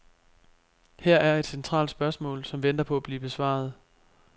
Her er et centralt spørgsmål, som venter på at blive besvaret.